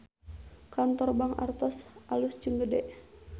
Kantor Bank Artos alus jeung gede